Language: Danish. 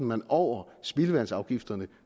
man over spildevandsafgifterne